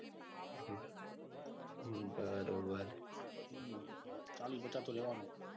હમ બરોબર ચાલી પાંચા તો લેવાનું.